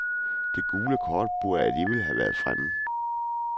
Det gule kort burde allerede have været fremme.